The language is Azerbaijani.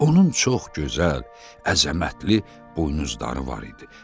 Onun çox gözəl, əzəmətli buynuzları var idi.